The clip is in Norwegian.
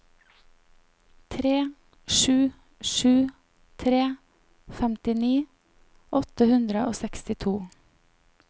tre sju sju tre femtini åtte hundre og sekstito